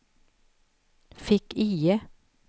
fick-IE